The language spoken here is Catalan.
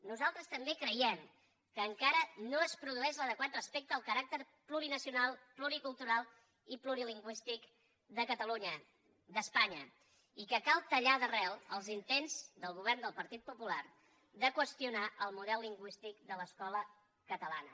nosaltres també creiem que encara no es produeix l’adequat respecte al caràcter plurinacional pluricultural i plurilingüístic d’espanya i que cal tallar d’arrel els intents del govern del partit popular de qüestionar el model lingüístic de l’escola catalana